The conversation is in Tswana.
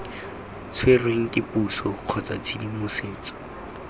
tshwerweng ke puso kgotsa tshedimosetso